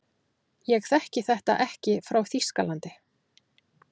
Ég þekki þetta ekki frá Þýskalandi.